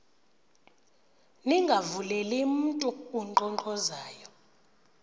ningavuleli mntu unkqonkqozayo